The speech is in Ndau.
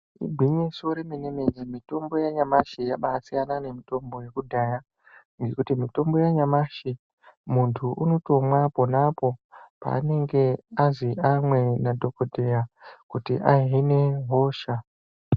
Igwinyiso remene mene mitombo yanyamashi yabaisiyana nemitombo yekudhaya ngokuti mitombo yanyamashi mundu unotomwa ponapo paanenge azi amwe nadhokoteya kuti ahine hosha.